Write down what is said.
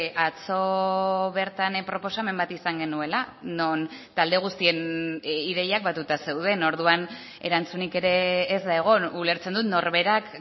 atzo bertan proposamen bat izan genuela non talde guztien ideiak batuta zeuden orduan erantzunik ere ez da egon ulertzen dut norberak